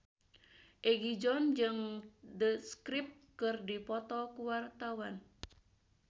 Egi John jeung The Script keur dipoto ku wartawan